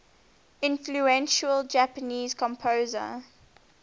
influential japanese composer